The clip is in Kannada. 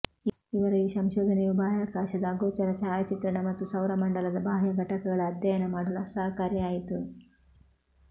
ಇವರ ಈ ಸಂಶೋಧನೆಯು ಬಾಹ್ಯಾಕಾಶದ ಅಗೋಚರ ಛಾಯಾಚಿತ್ರಣ ಮತ್ತು ಸೌರ ಮಂಡಲದ ಬಾಹ್ಯ ಘಟಕಗಳ ಅಧ್ಯಯನ ಮಾಡಲು ಸಹಕಾರಿ ಆಯಿತು